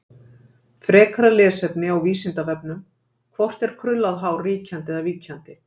Frekara lesefni á Vísindavefnum: Hvort er krullað hár ríkjandi eða víkjandi?